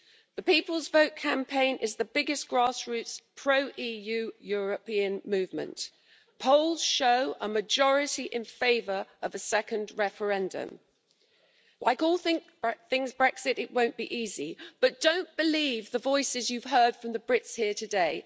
The People's Vote campaign is the biggest grassroots pro EU European movement. Polls show a majority in favour of a second referendum. Like all things Brexit, it won't be easy, but don't believe the voices you've heard from the Brits here today.